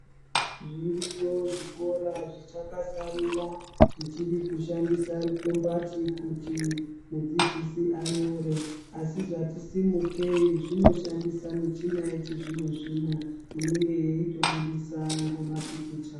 Zviriyo zvikora zvichakasarira zvichiri kushandisa rukombati kuti mudzidzisi anyore asi zvati simukei zvinoshandisa michina yechizvino zvino inenge yeitobudisa ngomapikicha.